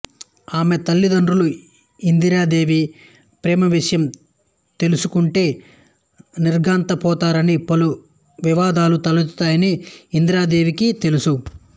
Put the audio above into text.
ఆమె తల్లితండ్రులు ఇందిరాదేవి ప్రేమవిషయం తెలుసుకుంటే నిర్ఘాంతపోతారని పలు వివాదాలు తలెత్తుతాయని ఇందిరాదేవికి తెలుసు